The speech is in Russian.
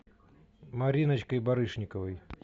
мариночкой барышниковой